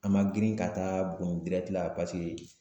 An ma girin ka taa buguni la